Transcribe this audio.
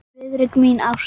Friðrik minn, ástin.